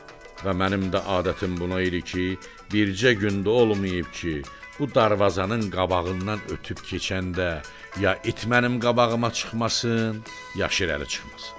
Və mənim də adətim bu idi ki, bircə gün də olmayıb ki, bu darvazanın qabağından ötüb keçəndə ya it mənim qabağıma çıxmasın, ya şirəli çıxmasın.